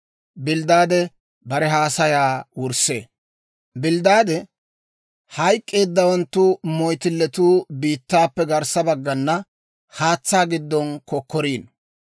Bilddaade, «Hayk'k'eeddawanttu moyttilletuu biittaappe garssa baggana haatsaa giddon kokkoriino.